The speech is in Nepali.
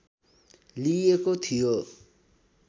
लिइएको थियो